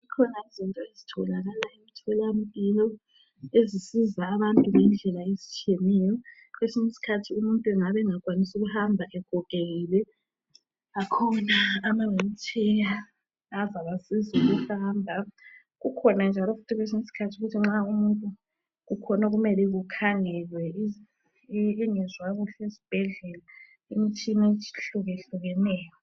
zikhona izinto ezitholakala emtholampilo ezisiza abantu ngendlela ezitshiyeneyo kwesinye isikhathi umuntu engabe engakwanisi ukuhamba egogekile kukhona okuyimtshina azabasiza ukuhamba kukhona njalo kwesinye isikhathi ukuthi nxa umutnu kukhona okumele kukhangelwe engezwa kuhle esibhedlela imitshina ehlukahlukeneyo